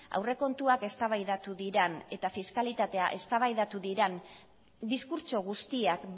aurrekontuak eztabaidatu diren eta fiskalitatea eztabaidatu diren diskurtso guztiak